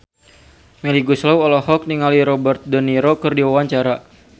Melly Goeslaw olohok ningali Robert de Niro keur diwawancara